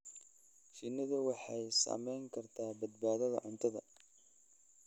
Shinnidu waxay saamayn kartaa badbaadada cuntada.